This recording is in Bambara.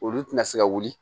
Olu tɛna se ka wuli